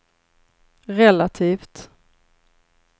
relativt